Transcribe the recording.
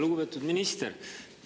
Lugupeetud minister!